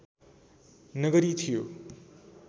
नगरी थियो